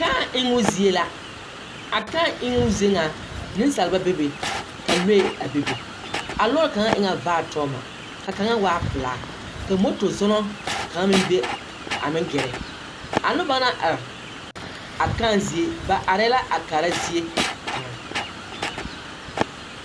Kãã emmo zie la. A kãã eŋoo zie ŋa, nensalba bebe, ka lɔɛ a bebe. Lɔɔre kaŋa e ŋa vaare tɔŋema, ka kaŋa waa pelaa, ka moto-zɔɔnɔ kaŋa meŋ be a meŋ gɛrɛ. A noba naŋ are, a kãã zie, ba arɛɛ la a kaara zie kaŋ.